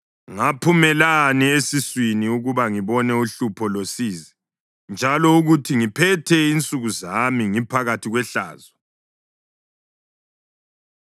Ngaphumelani esiswini ukuba ngibone uhlupho losizi njalo akuthi ngiphethe insuku zami ngiphakathi kwehlazo?